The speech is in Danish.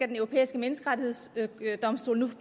den europæiske menneskerettighedsdomstol nu